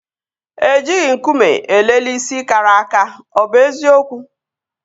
E jighị nkume elele isi kara aka. Ọ bụ eziokwu?